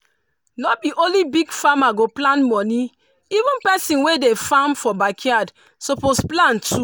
no be only big farmer go plan money even person wey dey farm for backyard suppose plan too.